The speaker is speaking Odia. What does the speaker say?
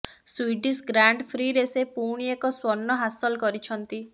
ସ୍ୱିଡିସ ଗ୍ରାଣ୍ଡ ପ୍ରିଁରେ ସେ ପୁଣି ଏକ ସ୍ୱର୍ଣ୍ଣ ହାସଲ କରିଛନ୍ତି